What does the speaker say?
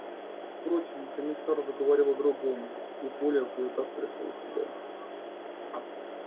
впрочем комиссар заговорил о другом и коля кое как пришёл в себя